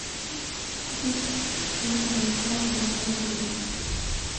купить жемчужина байкала полтора литра